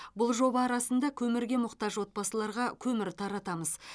бұл жоба арасында көмірге мұқтаж отбасыларға көмір таратамыз